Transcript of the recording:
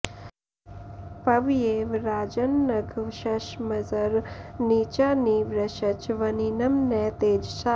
प॒व्येव॑ राजन्न॒घशं॑समजर नी॒चा नि वृ॑श्च व॒निनं॒ न तेज॑सा